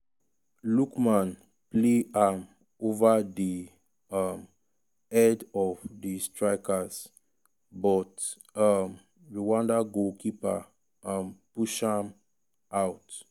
lookman play am ova di um head of di strikers but um rwanda goalkeeper um push am out.